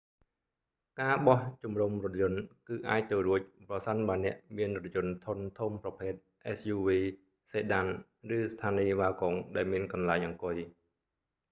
ការបោះជំរុំរថយន្ត គឺអាចទៅរួច ប្រសិនបើអ្នកមានរថយន្តធុន ធំប្រភេទ suv sedan ឬស្ថានីយ៍ wagon ដែលមានកន្លែង អង្គុយ